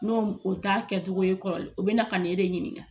N' o ta kɛcogo ye kɔrɔlen, o bɛna ka ne de ɲinika.